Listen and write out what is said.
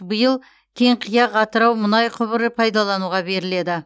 биыл кеңқияқ атырау мұнай құбыры пайдалануға беріледі